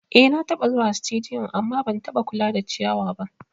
Eh nataba zuwa situdiyu amma ban kula da ciyawa ba